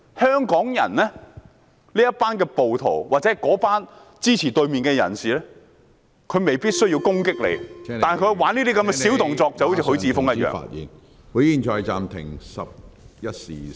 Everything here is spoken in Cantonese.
香港這群暴徒或支持對手的人士未必需要攻擊你，但他們可以作出這些小動作，正如許智峯議員般......